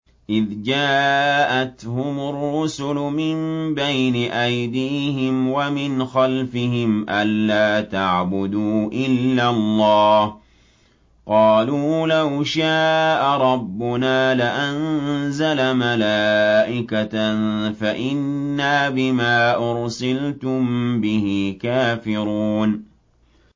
إِذْ جَاءَتْهُمُ الرُّسُلُ مِن بَيْنِ أَيْدِيهِمْ وَمِنْ خَلْفِهِمْ أَلَّا تَعْبُدُوا إِلَّا اللَّهَ ۖ قَالُوا لَوْ شَاءَ رَبُّنَا لَأَنزَلَ مَلَائِكَةً فَإِنَّا بِمَا أُرْسِلْتُم بِهِ كَافِرُونَ